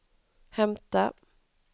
hämta